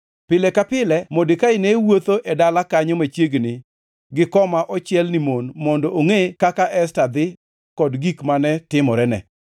Pile ka pile Modekai ne wuotho e dala kanyo machiegni gi koma ochiel ni mon mondo ongʼe kaka Esta dhi kod gik mane timorene.